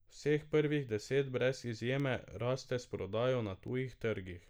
Vseh prvih deset brez izjeme raste s prodajo na tujih trgih.